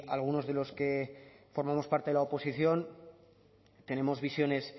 algunos de los que formamos parte de la oposición tenemos visiones